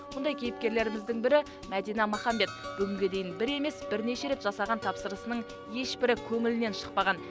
бұндай кейіпкерлеріміздің бірі мәдина махамбет бүгінге дейін бір емес бірнеше рет жасаған тапсырысының ешбірі көңілінен шықпаған